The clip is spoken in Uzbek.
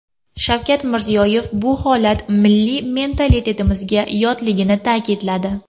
Shavkat Mirziyoyev bu holat milliy mentalitetimizga yotligini ta’kidladi.